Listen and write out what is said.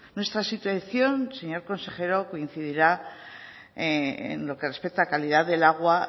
nuestra situación señor consejero coincidirá en lo que respecta a calidad de igual